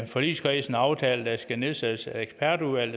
forligskredsen aftalt at nedsætte et ekspertudvalg